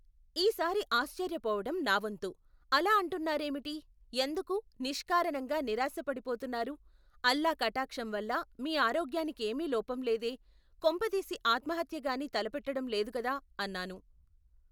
ఈసారి ఆశ్చర్యపోవటo నావంతు, అలా అంటున్నారేమిటి ఎందుకు నిష్కారణంగా నిరాశపడి పోతున్నారు, అల్లా కటాక్షంవల్ల మీ ఆరోగ్యానికేమీ లోపంలేదే కొంపదీసి ఆత్మహత్యగాని తలపెట్టడం లేదుగద అన్నాను.